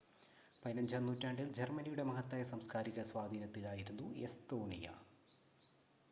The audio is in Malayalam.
15-ാം നൂറ്റാണ്ടിൽ ജർമ്മനിയുടെ മഹത്തായ സാംസ്ക്കാരിക സ്വാധീനത്തിൽ ആയിരുന്നു എസ്തോണിയ